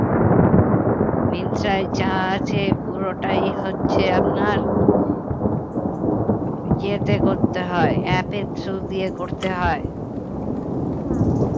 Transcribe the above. মিন্ত্রায় যা আছে পুরোটাই হচ্ছে আপনার ইয়েতে করতে হয় app এর through দিয়ে করতে হয়